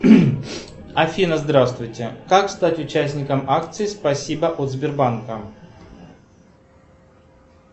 афина здравствуйте как стать участником акции спасибо от сбербанка